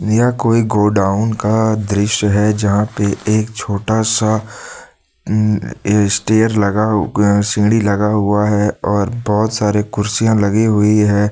यह कोई गोडाउन का दृश्य है जहां पे एक छोटा सा उ स्टेयर लगा उ सीढ़ी लगा हुआ है और बहोत सारी कुर्सियां लगी हुई है।